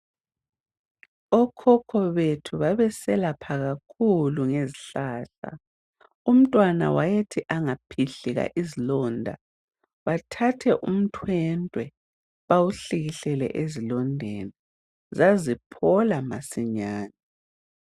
Okhokho bethu babeselapha kakhulu ngezihlahla Umntwana wayethi angaphikika izilonda bathathe imithi wesintu bahlikihlele zilondeni izilonda zaziphola masinyane.